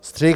Střih.